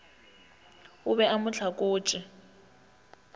o be a mo hlakotše